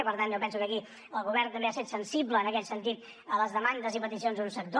i per tant jo penso que aquí el govern també ha set sensible en aquest sentit a les demandes i peticions d’un sector